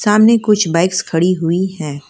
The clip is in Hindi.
सामने कुछ बाइक्स खड़ी हुई हैं।